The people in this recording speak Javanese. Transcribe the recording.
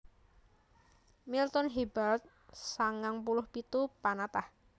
Milton Hebald sangang puluh pitu panatah